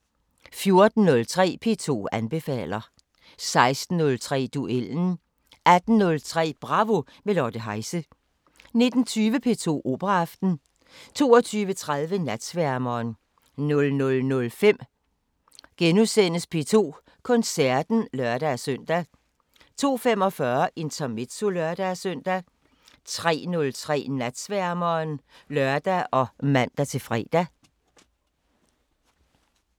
14:03: P2 anbefaler 16:03: Duellen 18:03: Bravo – med Lotte Heise 19:20: P2 Operaaften 22:30: Natsværmeren 00:05: P2 Koncerten *(lør-søn) 02:45: Intermezzo (lør-søn) 03:03: Natsværmeren (lør og man-fre)